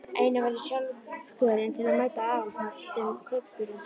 Einnig var ég sjálfkjörinn til að mæta á aðalfundum kaupfélagsins.